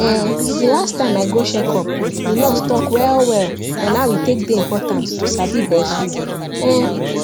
um the last time i go check up the nurse talk well well on how e take dey important to sabi breastfeed um